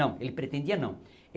Não, ele pretendia não.